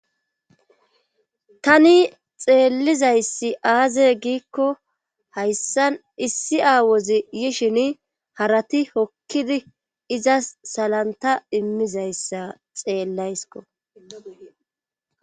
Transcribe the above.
Tani xeellizayssi aaze giikko hayssan issi aawozi yishin harati hokkidi iza salanta immizayssa xeellaysko